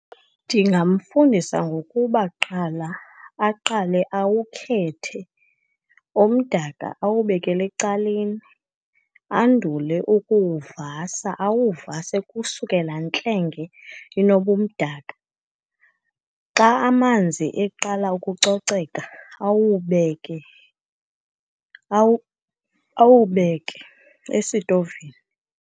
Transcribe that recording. Ndingamfundisa ngokuba kuqala, aqale awukhethe, omdaka awubekele ecaleni, andule ukuwuvasa. Awuvase kusuke laa ntlenge inobumdaka. Xa amanzi eqala ukucoceka awubeke awubeke esitovini.